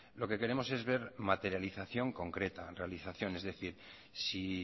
lo que queremos es ver materialización concreta realización es decir si